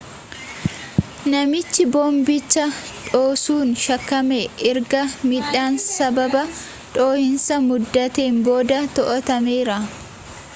namichii boombicha dhoosuun shakkame ergaa midhaan sababa dho'iinsan muddaten booda to'atameera